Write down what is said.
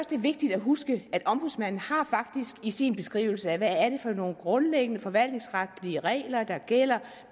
det er vigtigt at huske at ombudsmanden faktisk i sin beskrivelse af hvad det er for nogle grundlæggende forvaltningsretlige regler der gælder